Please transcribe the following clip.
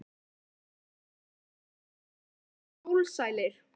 Framundan eru góðir dagar og skjólsælir.